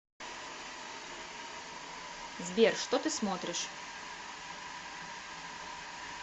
сбер что ты смотришь